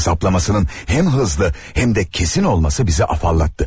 Hesablamasının həm hızlı, həm də kesin olması bizi afallattı.